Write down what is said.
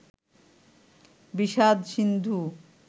বিষাদ সিন্ধু